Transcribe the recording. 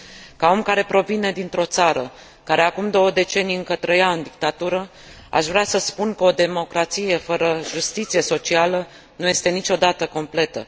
Ca om care provine dintr o țară care, acum două decenii, încă trăia în dictatură, aș vrea să spun că o democrație fără justiție socială nu este niciodată completă.